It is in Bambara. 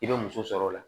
I bɛ muso sɔrɔ o la